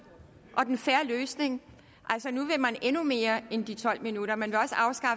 og den fair løsning altså nu vil man endnu mere end de tolv minutter man